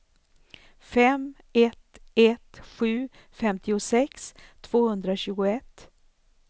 fem ett ett sju femtiosex tvåhundratjugoett